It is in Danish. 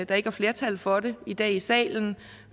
der ikke er flertal for det i dag i salen